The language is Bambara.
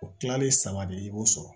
O kilalen saba de i b'o sɔrɔ